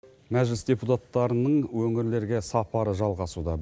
мәжіліс депутаттарының өңірлерге сапары жалғасуда